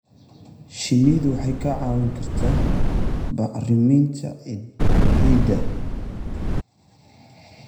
Shinnidu waxay kaa caawin kartaa bacriminta ciidda.